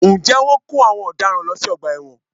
Ǹjẹ́ Wọ́n ń kó àwọn ọ̀daràn lọ sí ọgbà ẹ̀wọ̀n?